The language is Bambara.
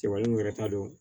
Cɛbalw yɛrɛ t'a dɔn